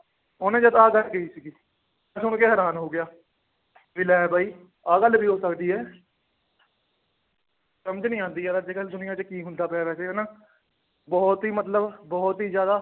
ਉਹਨੇ ਜਦ ਆਹ ਗੱਲ ਕਹੀ ਸੀਗੀ, ਮੈਂ ਸੁਣ ਕੇ ਹੈਰਾਨ ਹੋ ਗਿਆ ਵੀ ਲੈ ਬਾਈ ਆਹ ਗੱਲ ਵੀ ਹੋ ਸਕਦੀ ਹੈ ਸਮਝ ਨੀ ਆਉਂਦੀ ਯਾਰ ਅੱਜ ਕੱਲ੍ਹ ਦੁਨੀਆ 'ਚ ਕੀ ਹੁੰਦਾ ਪਿਆ ਵੈਸੇ ਹਨਾ, ਬਹੁਤ ਹੀ ਮਤਲਬ ਬਹੁਤ ਹੀ ਜ਼ਿਆਦਾ